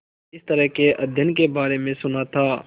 इस तरह के अध्ययन के बारे में सुना था